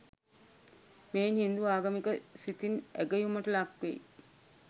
මෙයින් හින්දු ආගමික සිතින් ඇගයුමට ලක්වෙයි.